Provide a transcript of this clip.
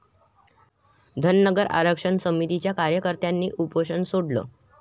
धनगर आरक्षण समितीच्या कार्यकर्त्यांनी उपोषण सोडलं